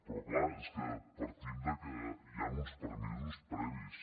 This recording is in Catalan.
però clar és que partim del fet que hi han uns permisos previs